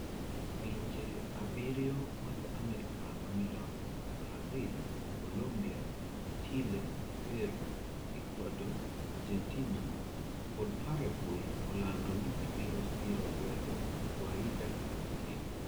Pinje abiriyo mag America ma milambo Brazil, Colombia, Chile, Peru, Ecuador, Argentina kod Paraguay olando ni gibiro siro lwedo Guaida kaka ker.